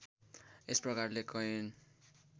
यस प्रकारले कैयन